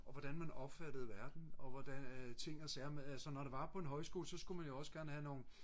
og hvordan man opfattede verden og hvordan ting og sager sådan når det var på en højskole så skulle man jo også gerne have nogle